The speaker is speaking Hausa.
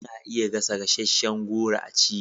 Ana iya gasasshen goro a ci